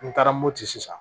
N taara mopti sisan